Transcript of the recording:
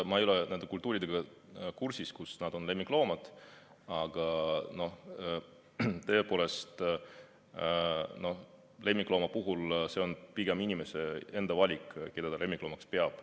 Ma ei ole nende kultuuridega kursis, kus nad on lemmikloomad, aga tõepoolest, lemmiklooma puhul on pigem inimese enda valik, keda ta lemmikloomaks peab.